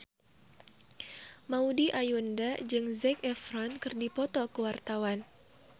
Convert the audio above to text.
Maudy Ayunda jeung Zac Efron keur dipoto ku wartawan